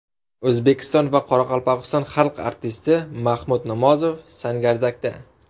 O‘zbekiston va Qoraqalpog‘iston xalq artisti Mahmud Namozov Sangardakda.